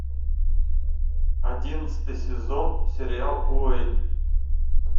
одиннадцатый сезон сериал уэйн